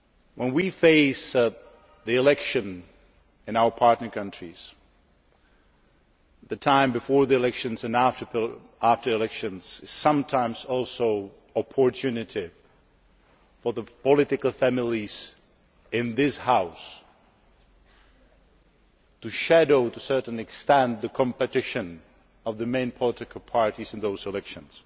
when we face the election in our partner countries, the time before the elections and after the elections is sometimes also an opportunity for the political families in this House to shadow, to a certain extent, the competition of the main political parties in those elections.